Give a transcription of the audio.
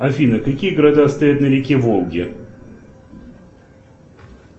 афина какие города стоят на реке волге